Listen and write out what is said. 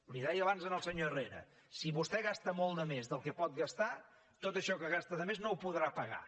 li ho deia abans al senyor herrera si vostè gasta molt de més del que pot gastar tot això que gasta de més no ho podrà pagar